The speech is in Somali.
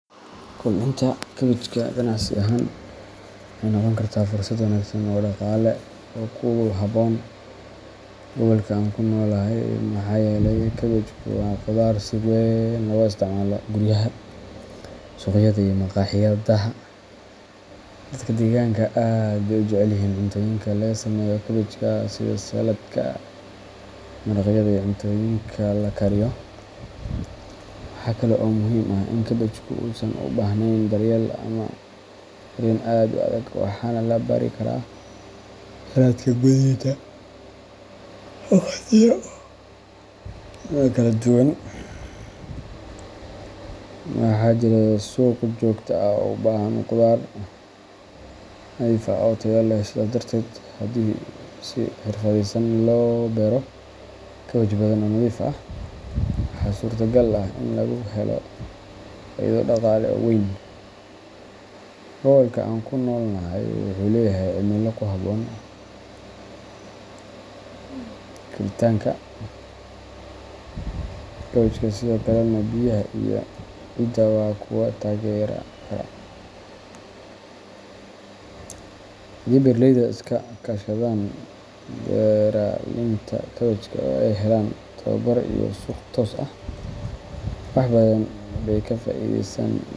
Kobcinta kaabajka ganacsi ahaan waxay noqon kartaa fursad wanaagsan oo dhaqaale oo ku habboon gobolka aan ku noolahay maxaa yeelay kaabajku waa khudaar si weyn looga isticmaalo guryaha, suuqyada iyo makhaayadaha. Dadka deegaanka aad bay u jecel yihiin cuntooyinka laga sameeyo kaabajka sida saladka, maraqyada iyo cuntooyinka la kariyo. Waxa kale oo muhiim ah in kaabajku uusan u baahnayn daryeel aad u adag waxaana la beeri karaa sanadka gudihiisa waqtiyo kala duwan. Waxaa jira suuq joogto ah oo u baahan khudaar nadiif ah oo tayo leh sidaas darteed haddii si xirfadaysan loo beero kaabaj badan oo nadiif ah waxaa suurtagal ah in lagu helo faa’iido dhaqaale oo weyn. Gobolka aan ku noolahay wuxuu leeyahay cimilo ku habboon koritaanka kaabajka sidoo kalena biyaha iyo ciidda waa kuwo taageeri kara. Haddii beeraleyda iska kaashadaan beeralaynta kaabajka oo ay helaan tababar iyo suuq toos ah wax badan bay ka faa’iideysan.